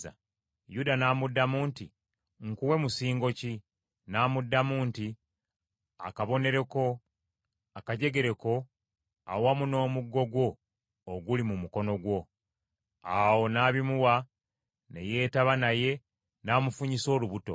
Yuda n’amuddamu nti, “Nkuwe musingo ki?” N’amugamba nti, “Akabonero ko, akajegere ko awamu n’omuggo gwo oguli mu mukono gwo.” Awo n’abimuwa, ne yeetaba naye, n’amufunyisa olubuto.